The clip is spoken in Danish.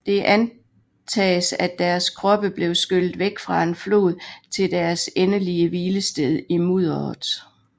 Det antages at deres kroppe blev skyllet væk af en flod til deres endelige hvilested i mudderet